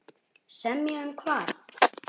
Semja um hvað?